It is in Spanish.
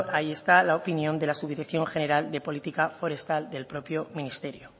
ahí está la opinión de la subdirección general de política forestal del propio ministerio